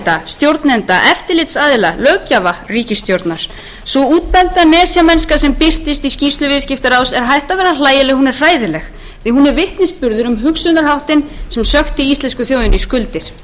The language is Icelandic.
eigenda stjórnenda eftirlitsaðila löggjafa ríkisstjórnar sú útbelgda nesjamennska sem birtist í skýrslu viðskiptaráðs er hætt að vera hlægileg hún er hræðileg því að hún er vitnisburður um hugsunarháttinn sem sökkti íslensku þjóðinni í skuldir á sumum sviðum eru íslendingar staddir á núllpunkti